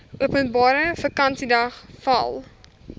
openbare vakansiedag val